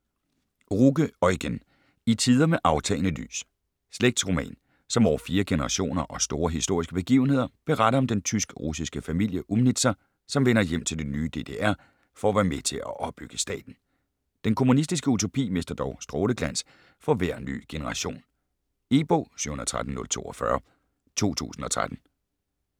Ruge, Eugen: I tider med aftagende lys Slægtsroman, som over fire generationer og store historiske begivenheder beretter om den tysk-russiske familie Umnitzer, som vender hjem til det nye DDR for at være med til at opbygge staten. Den kommunistiske utopi mister dog stråleglans for hver ny generation. E-bog 713042 2013.